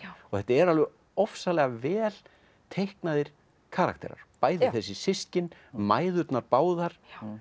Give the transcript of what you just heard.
og þetta eru ofsalega vel teiknaðir karakterar bæði þessi systkin mæðurnar báðar